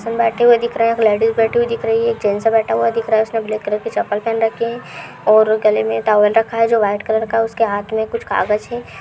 बैठी हुई दिख रही हैं। एक लेडीज बैठी हुई दिख रही हैं। एक जेन्स बैठा हुआ दिख रहा है उसने ब्लैक कलर की चप्पल पहन रखी है और गले में टॉवल रखा है जो व्हाइट कलर का है उसके हाथ में कुछ कागज है।